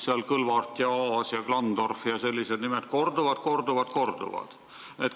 Kõlvart, Aas, Klandorf ja sellised nimed seal korduvad-korduvad-korduvad.